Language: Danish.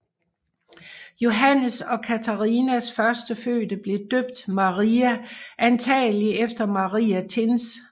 Johannes og Catharinas førstefødte blev døbt Maria antagelig efter Maria Thins